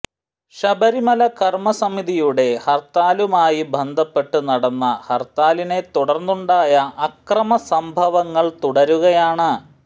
ശബരിമല കർമ്മസമിതിയുടെ ഹർത്താലുമായി ബന്ധപ്പെട്ട് നടന്ന ഹർത്താലിനെ തുടർന്നുണ്ടായ അക്രമസംഭവങ്ങൾ തുടരുകയാണ്